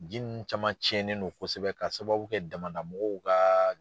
Ji ninnu caman tiɲɛnen don kosɛbɛ k'a sababuya kɛ damada mɔgɔw ka